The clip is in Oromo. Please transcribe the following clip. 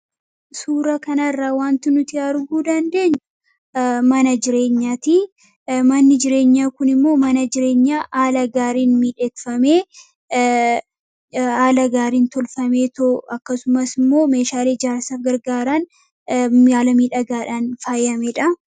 Suuraa kana irraa waanti nuti arguu dandeenyu mana jireenyaati. Manni jireenyaa kunis haala gaariin miidhagfamee fi tolfamedha; meeshaalee ijaarsaaf gargaaran haala miidhagaadhaan faayamedha.